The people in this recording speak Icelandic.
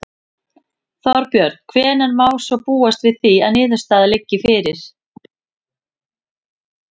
Þorbjörn: Hvenær má svo búast við því að niðurstaða liggi fyrir?